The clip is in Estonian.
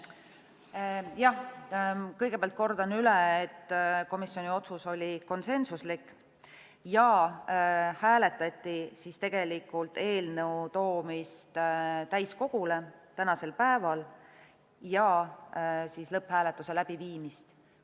Jah, kõigepealt kordan üle, et komisjoni otsus oli konsensuslik ja hääletati tegelikult eelnõu toomist täiskogule tänasel päeval ja lõpphääletuse läbiviimist.